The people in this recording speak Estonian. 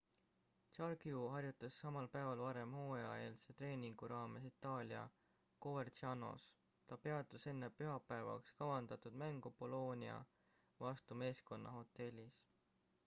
jarque harjutas samal päeval varem hooajaeelse treeningu raames itaalias covercianos ta peatus enne pühapäevaks kavandatud mängu bolionia vastu meeskonna hotellis